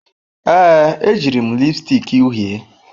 Ee, ejiri m lipstick uhie.